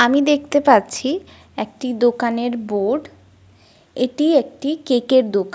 আমি দেখতে পাচ্ছি একটি দোকানের বোর্ড । এটি একটি কেক এর দোকান--